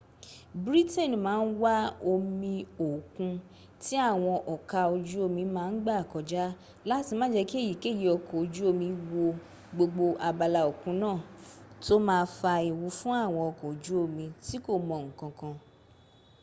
britain ma ń wa omi òkun tí àwọn ọka ojú omi ma ń gbà kọjá láti má jẹ́ kí èyíkèyí okọ̀ ojú omi wo gbogbo abala òkun náà tó ma fa ewu fún àwọn ọkọ̀ ojú omi tí kò mọ ǹkankan